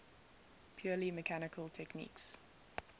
purely mechanical techniques